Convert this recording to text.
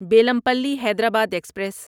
Bellampalli Hyderabad express